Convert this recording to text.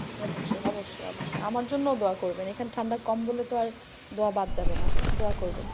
অবশ্যই অবশ্যই অবশ্যই। আমার জন্যও দুয়া করবেন এখানে ঠান্ডা কম বলে তো আর দুয়া বাদ যাবেনা, দুয়া করবেন।